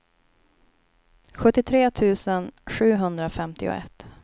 sjuttiotre tusen sjuhundrafemtioett